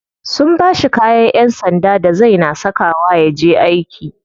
Sun bashi kayan yan sanda da zai na saka wa yaje aiki.